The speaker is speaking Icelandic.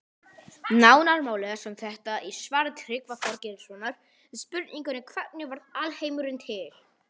Nánar má lesa um þetta í svari Tryggva Þorgeirssonar við spurningunni Hvernig varð alheimurinn til?